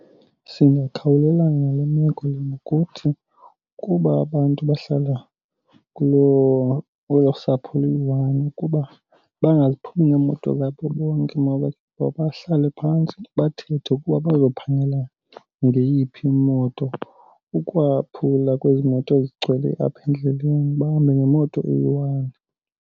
Singakhawulelana nale meko lena ngokuthi kuba abantu bahlala kwelo sapho luyi-one ukuba bangaphumi ngeemoto zabo bonke. Mabahlale phantsi bathethe ukuba bazophangela ngeyiphi imoto ukwaphula kwezi moto zigcwele apha endleleni bahambe ngemoto eyi-one.